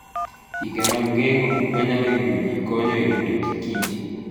Chike mag geng'o gik manyalo hinyo ji, konyo e rito kich.